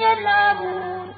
يَلْعَبُونَ